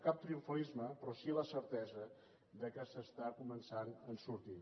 cap triomfalisme però sí la certesa que se n’està començant a sortir